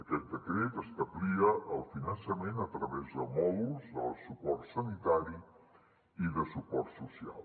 aquest decret establia el finançament a través de mòduls del suport sanitari i de suport social